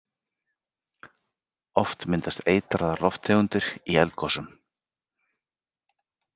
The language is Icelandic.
Oft myndast eitraðar lofttegundir í eldgosum.